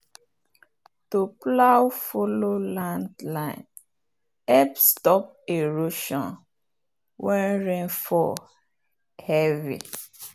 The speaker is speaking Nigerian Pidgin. to plow follow land line help stop erosion when rain fall heavy.